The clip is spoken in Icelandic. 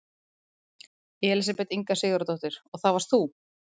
Elísabet Inga Sigurðardóttir: Og það varst þú?